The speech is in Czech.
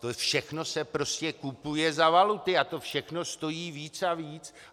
To všechno se prostě kupuje za valuty a to všechno stojí víc a víc!